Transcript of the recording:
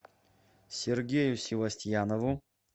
сергею севастьянову